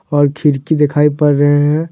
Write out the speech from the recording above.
और खिड़की दिखाई पड़ रहे है।